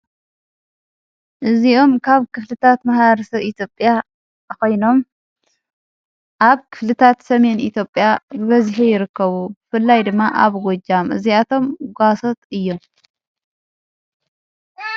እዚኡም ካብ ክፍልታት መሕበረሰብ ኢትዮጲያ ኾይኖም፤ ኣብ ክፍልታት ሰሜን ኢትዮጲያ በዚኂ ይርከቡ ። ፍላይ ድማ ኣብ ጐጃም እዚኣቶም ጓሶት እዮም።